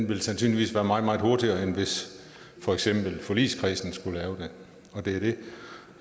vil sandsynligvis være meget meget hurtigere end hvis for eksempel forligskredsen skulle lave det og det